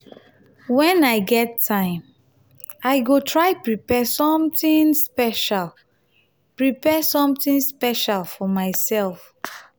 wen i get time i go try prepare something special prepare something special for myself.